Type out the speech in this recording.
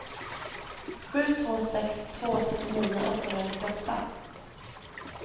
sju två sex två fyrtionio åttahundranittioåtta